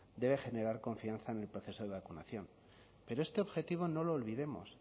debe generar confianza en el proceso de vacunación pero este objetivo no lo olvidemos